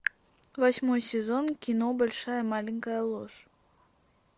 восьмой сезон кино большая маленькая ложь